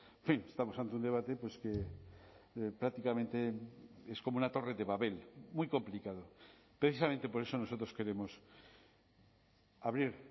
en fin estamos ante un debate pues que prácticamente es como una torre de babel muy complicado precisamente por eso nosotros queremos abrir